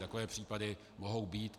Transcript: Takové případy mohou být.